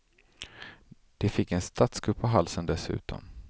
De fick en statskupp på halsen dessutom.